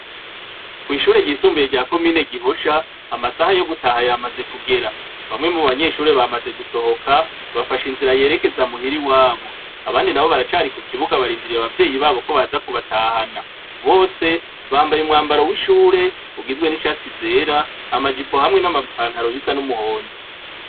Kwishure ryisumbuye rya komine Gihosha, amasaha yogutaha yamaze kugera, bamwe mubanyeshure bamaze gusohoka bafashe inzira yerekeza muhira iwabo, abandi nabo baracarari kukibuga barindiye abavyeyi babo ko baza kubatahana . Bose bambaye umwambaro w’ishure ugizwe nishati zera ama jipo hamwe nama pantaro bisa n’umuhondo.